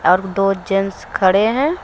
दो जेंट्स खड़े हैं।